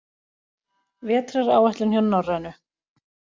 Vetraráætlun hjá Norrænu